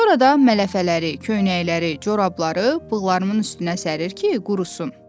Sonra da mələfələri, köynəkləri, corabları bığlarımın üstünə sərir ki, qurusun.